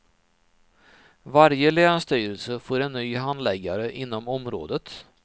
Varje länsstyrelse får en ny handläggare inom området.